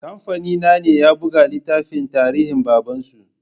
Kamfani na ne ya buga littafin tarinhin baban su